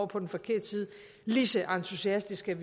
på den forkerte side lige så entusiastiske